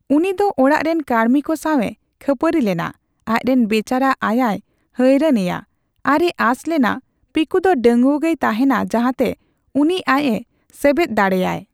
ᱩᱱᱤ ᱫᱚ ᱚᱲᱟᱜ ᱨᱮᱱ ᱠᱟᱲᱢᱤ ᱠᱚ ᱥᱟᱣ ᱮ ᱠᱷᱟᱹᱯᱟᱹᱨᱤ ᱞᱮᱱᱟ, ᱟᱡ ᱨᱮᱱ ᱵᱮᱪᱟᱨᱟ ᱟᱭᱟᱭ ᱦᱟᱭᱨᱟᱱ ᱮᱭᱟ ᱟᱨ ᱮ ᱟᱥ ᱞᱮᱱᱟ ᱯᱤᱠᱩ ᱫᱚ ᱰᱟᱹᱝᱜᱩᱭᱟᱹ ᱜᱮᱭ ᱛᱟᱦᱮᱱᱟ ᱡᱟᱦᱟᱛᱮ ᱩᱱᱤ ᱟᱡ ᱮ ᱥᱮᱵᱮᱫ ᱫᱟᱲᱮᱭᱟᱭ ᱾